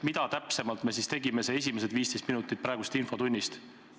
Mida täpselt me siis tegime need esimesed 15 minutit praegusest infotunnist?